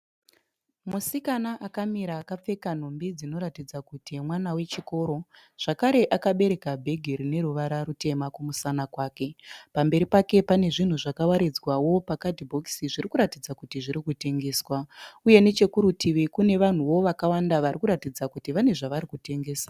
Musikana akamira akapfeka nhumbi dzinoratidza kuti mwana wechikoro. Zvakare akabereka bhegi rine ruvara rutema kumusana kwake. Pamberi pake pane zvinhu zvakawaridzwawo pakadhibhokisi zviri kuratidza kuti zviri kutengeswa uye nechekurutivi kune vanhuwo wakawanda vari kuratidza kuti vane zvavari kutengesa.